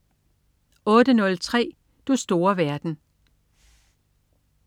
08.03 Du store verden